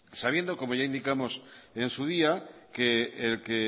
sabiendo como ya indicamos en su día que el que